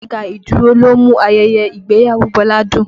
Alága ìdúró ló mú ayẹyẹ ìgbéyàwó Bọlá dùn